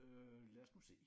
Øh lad os nu se